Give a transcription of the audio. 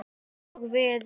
Og við?